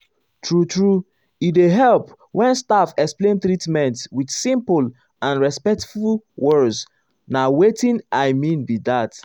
true true e dey help when staff explain treatment with simple and respectful words na watin i mean be that.